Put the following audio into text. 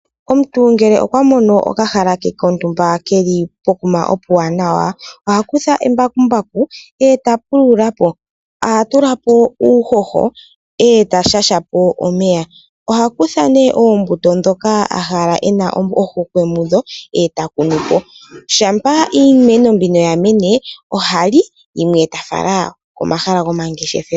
Omuntu ngele okwa mono okahala ke kontumba keli pokuma okawanawa oha kutha embakumbaku eta pulula po . Oha tula po uuhoho eta shasha po omeya oha kutha ne oombuto ndhoka a hala ena ohokwe mudho etakunu po, Shampa iimeno mbino ya mene ohali yimwe ta fala komahala go mangeshefelo